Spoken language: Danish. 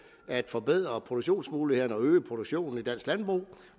at forbedre produktionsmulighederne og øge produktionen i dansk landbrug